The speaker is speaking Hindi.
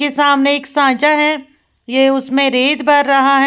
के सामने एक सांचा है यह उसमें रेत भर रहा है।